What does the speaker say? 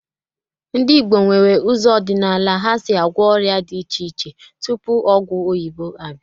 Ndị Igbo nwere ụzọ ọdịnala ha si agwọ ọrịa di iche iche tupu ọgwụ oyibo abịa